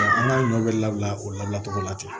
an ka ɲɔ bɛ labila o labila cogo la ten